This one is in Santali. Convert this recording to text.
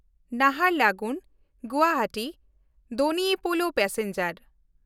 ᱱᱟᱦᱟᱨᱞᱟᱜᱩᱱ–ᱜᱩᱣᱟᱦᱟᱴᱤ ᱰᱚᱱᱤ ᱯᱳᱞᱳ ᱮᱠᱥᱯᱨᱮᱥ